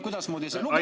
Kuidasmoodi see oli?